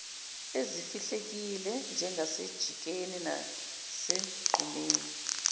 ezifihlekile njengasejikeni nasegqumeni